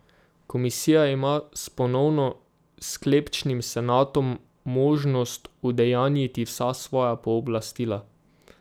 Komisija ima s ponovno sklepčnim senatom možnost udejanjiti vsa svoja pooblastila.